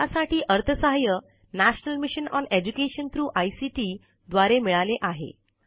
यासाठी अर्थसहाय्य national mission on education through ICT द्वारे मिळाले आहे